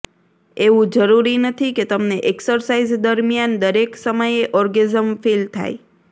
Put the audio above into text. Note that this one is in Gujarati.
એવું જરૂરી નથી કે તમને એક્સરસાઈઝ દરમિયાન દરેક સમયે ઓર્ગેઝમ ફીલ થાય